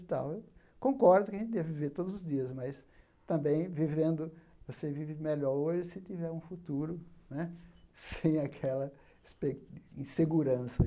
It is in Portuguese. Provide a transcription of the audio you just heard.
Então eu concordo que a gente deva viver todos os dias, mas também vivendo você vive melhor hoje se tiver um futuro né sem aquela espe insegurança.